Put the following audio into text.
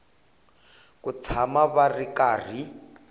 ku tshama va ri karhi